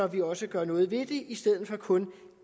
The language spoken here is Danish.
vi også gør noget ved det i stedet for kun